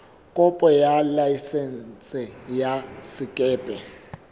kopo ya laesense ya sekepe